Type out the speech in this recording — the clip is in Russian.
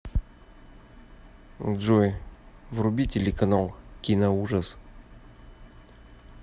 джой вруби телеканал киноужас